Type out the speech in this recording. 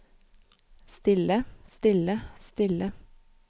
stille stille stille